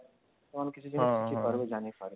ସେମାନେ କିଛି ଜିନିଷ ଶିଖି ପାରିବେ ଜାଣିପାରିବେ